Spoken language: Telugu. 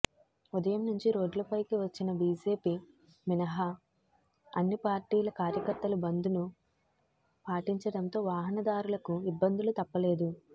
ఉదయం నుంచి రోడ్లపైకి వచ్చిన బీజేపీ మినహా అన్ని పార్టీల కార్యకర్తలు బంద్ను పాటించడంతో వాహనదారులకు ఇబ్బందులు తప్పలేదు